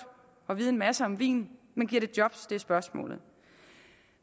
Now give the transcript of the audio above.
at vide en masse om vin men giver det job det er spørgsmålet